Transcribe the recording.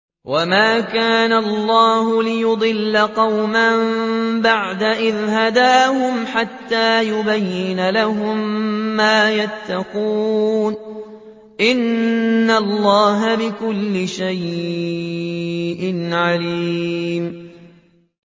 وَمَا كَانَ اللَّهُ لِيُضِلَّ قَوْمًا بَعْدَ إِذْ هَدَاهُمْ حَتَّىٰ يُبَيِّنَ لَهُم مَّا يَتَّقُونَ ۚ إِنَّ اللَّهَ بِكُلِّ شَيْءٍ عَلِيمٌ